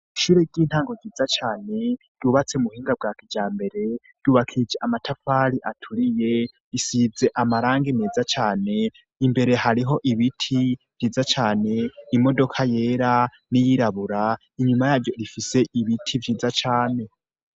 Ishure ry'intango ryiza cane yubatse mu buhinga bwa kija mbere yubakije amatapari aturiye risize amarange meza cane imbere hariho ibiti vyiza cane imodoka yera n'i yirabura inyuma yaryo rifise ibiti vyiza cane.